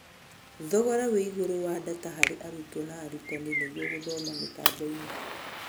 Thogora wĩigũrũ wa ndata harĩ arutwo na arutani nĩguo gũthoma mĩtamboinĩ